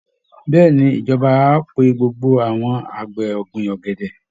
Bẹ́ẹ̀ ni, ìjọba á pe gbogbo àwọn àgbẹ̀ ọ̀gbìn ọ̀gẹ̀dẹ̀